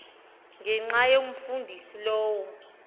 ngenxa yomfundisi lowo